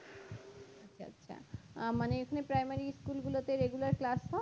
আচ্ছা আচ্ছা আ মানে এখানে primary school গুলোতে হয় regular class হয়